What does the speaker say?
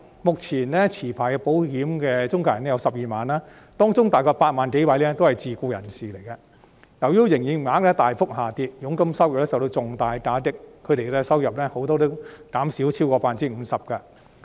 目前持牌的保險中介人有12萬名，當中大約8萬多名是自僱人士，由於營業額大幅下跌，佣金收入受到重大打擊，不少人的收入減少超過 50%。